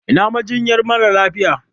Ina majinyar mara lafiya?